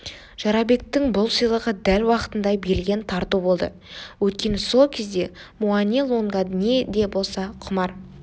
жорабектің бұл сыйлығы дәл уақытында берілген тарту болды өйткені сол кезде муани-лунга не де болса құмар